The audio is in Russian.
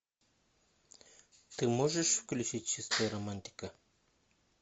ты можешь включить чистая романтика